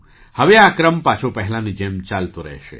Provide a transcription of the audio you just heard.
હવે આ ક્રમ પાછો પહેલાંની જેમ ચાલતો રહેશે